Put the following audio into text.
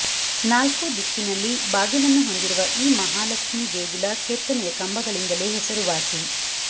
ನಾಲ್ಕೂ ದಿಕ್ಕಿನಲ್ಲಿ ಬಾಗಿಲನ್ನು ಹೊಂದಿರುವ ಈ ಮಹಾಲಕ್ಷ್ಮಿ ದೇಗುಲ ಕೆತ್ತನೆಯ ಕಂಬಗಳಿಂದಲೇ ಹೆಸರುವಾಸಿ